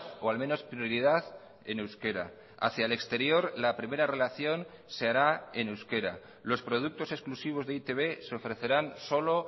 o al menos prioridad en euskera hacia el exterior la primera relación se hará en euskera los productos exclusivos de e i te be se ofrecerán solo